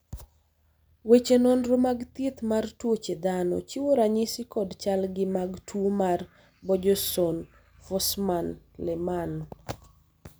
weche nonro mag thieth mar tuoche dhano chiwo ranyisi kod chalgi mag tuo mar Borjeson Forssman Lehmann